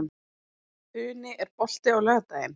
Funi, er bolti á laugardaginn?